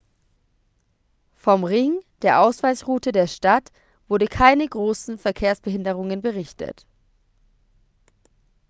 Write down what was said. vom ring der ausweichroute der stadt wurden keine großen verkehrsbehinderungen berichtet